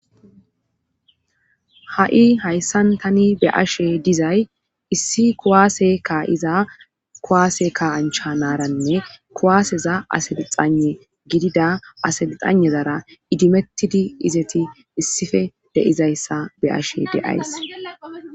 Ha,i hayssan tani be ashe dizay issi kuwaase kaiza kuwaase ka ancha naaranne kuwaaseza asalixane gidida aselixanezara idimettidi izeti issife deizayssa be ashe deays